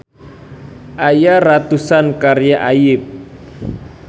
Aya ratusan karya Ayip.